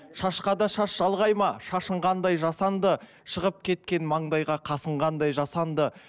шашқа да шаш жалғай ма шашың қандай жасанды шығып кеткен маңдайға қасың қандай жасанды